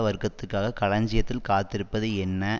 வர்க்கத்துக்காக களஞ்சியத்தில் காத்திருப்பது என்ன